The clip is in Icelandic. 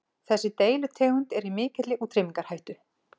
Þessi deilitegund er í mikilli útrýmingarhættu.